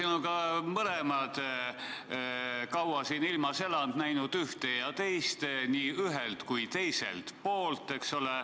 Me oleme mõlemad kaua siin ilmas elanud, näinud ühte ja teist nii ühelt kui ka teiselt poolt, eks ole.